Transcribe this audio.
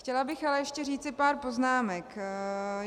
Chtěla bych ale ještě říci pár poznámek.